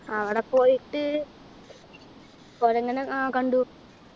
അവിടെ പോയിട്ട് കൊരങ്ങനെ ആ കണ്ടു